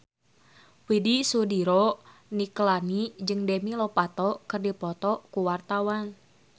Widy Soediro Nichlany jeung Demi Lovato keur dipoto ku wartawan